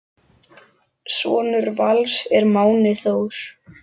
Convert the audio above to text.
Sonur Vals er Máni Þór.